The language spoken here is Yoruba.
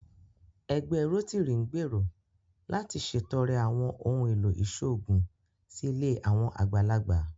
Ẹgbẹ́ Rótírì ń gbèrò láti ṣètọrẹ àwọn ohùn èlò ìṣòògùn sí ilé àwọn àgbàlagbà